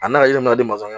A n'a ye ne ma deli masɔnkɛ